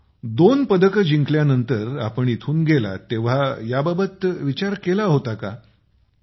दोनपदकं जिंकल्यानंतर आपण इथून गेलात तेव्हा याबाबत विचार केला होता काय़